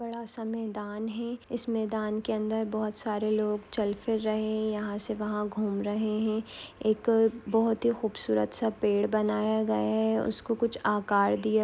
बड़ासा मैदान है इस मैदान के अंदर बहुत सारे लोग चल फिर रहे यहा से वहा घूम रहे है एक बहुत ही खूबसूरत सा पेड़ बनाया गया है उसको कुछ आकार दिया--